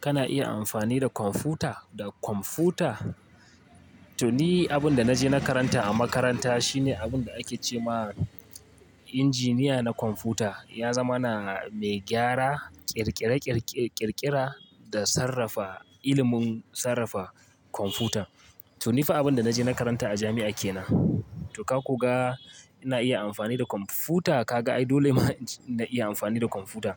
Kana iya amfani da kwamfuta. Da kwamfuta to ni abunda naje na karanta a makaranta shi ne abunda ake cema injiniya na kwamfuta ya zama na mai gyara ƙirƙire-ƙirƙire-ƙirƙira da sarrafa ilimin sarrafa kwamfuta. To ni fa abun da na je na karanta a jami'a ke nan. To ka koga ina iya amfani da kwamfuta kaga ai dole ma in-- na iya amfani da kwamfuta